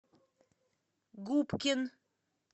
губкин